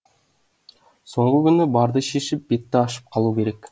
соңғы күні барды шешіп бетті ашып қалу керек